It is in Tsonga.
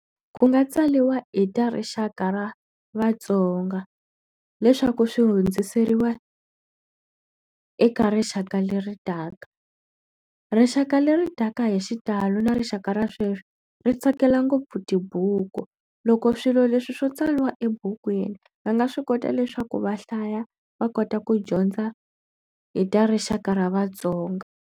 Ku nga tsariwa hi ta rixaka ra vatsonga leswaku swi hundziseriwa eka rixaka leri taka. Rixaka leri taka hi xitalo na rixaka ra sweswi, ri tsakela ngopfu tibuku. Loko swilo leswi swo tsariwa ebukwini, va nga swi kota leswaku va hlaya va kota ku dyondza hi ta rixaka ra vatsonga.